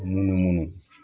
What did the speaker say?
Munumunu